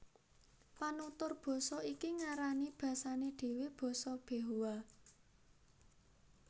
Panutur basa iki ngarani basané dhéwé basa Behoa